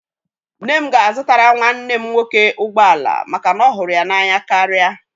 Nne m ga-azụtara nwanne m nwoke ụgbọ ala maka na ọ hụrụ ya n'anya karịa